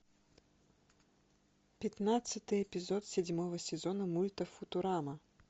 пятнадцатый эпизод седьмого сезона мульта футурама